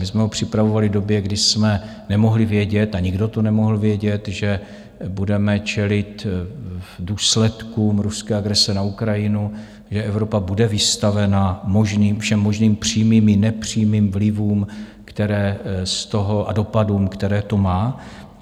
My jsme ho připravovali v době, kdy jsme nemohli vědět, a nikdo to nemohl vědět, že budeme čelit důsledkům ruské agrese na Ukrajinu, že Evropa bude vystavena všem možným přímým i nepřímým vlivům a dopadům, které to má.